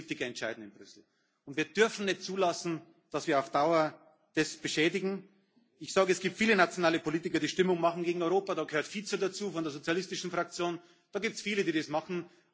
Gewählte Politiker entscheiden in Brüssel. Wir dürfen nicht zulassen, dass wir das auf Dauer beschädigen. Ich sage, es gibt viele nationale Politiker, die Stimmung gegen Europa machen.